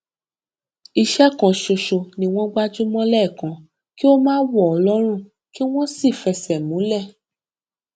iṣẹ kan ṣoṣo ni wọn gbájú mọ lẹẹkan kí ó má wọ lọrùn kí wọn sì fẹsẹ múlẹ